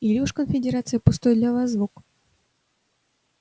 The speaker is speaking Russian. или уж конфедерация пустой для вас звук